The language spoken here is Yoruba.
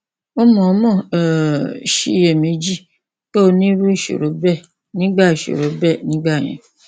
o mọọmọ um ṣiyèméjì pé o ní irú ìṣòro bẹẹ nígbà ìṣòro bẹẹ nígbà yẹn